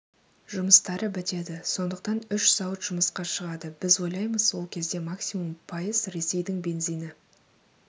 жұмыстары бітеді сондықтан үш зауыт жұмысқа шығады біз ойлаймыз ол кезде максимум пайыз ресейдің бензині